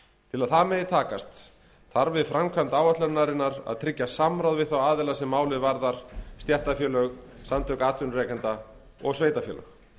til að það megi takast þarf við framkvæmd áætlunarinnar að tryggja samráð við þá aðila sem málið varðar stéttarfélög samtök atvinnurekenda og sveitarfélög